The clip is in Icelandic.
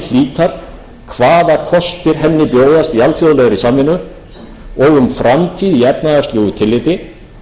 alþjóðlegri samvinnu og um framtíð í efnahagslegu tilliti og hyggist leggja niðurstöður